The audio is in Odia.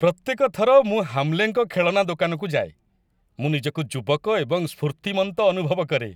ପ୍ରତ୍ୟେକ ଥର ମୁଁ ହାମ୍ଲେଙ୍କ ଖେଳନା ଦୋକାନକୁ ଯାଏ, ମୁଁ ନିଜକୁ ଯୁବକ ଏବଂ ସ୍ଫୁର୍ତ୍ତିମନ୍ତ ଅନୁଭବ କରେ!